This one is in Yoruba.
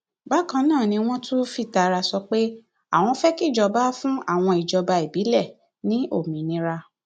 bákan náà ni wọn tún fìtara sọrọ pé àwọn fẹ kíjọba fún àwọn ìjọba ìbílẹ ní òmìnira